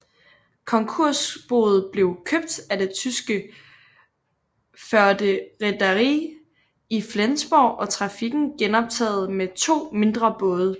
Konkursboet blev købt af det tyske Förde Reederei i Flensborg og trafikken genoptaget med to mindre både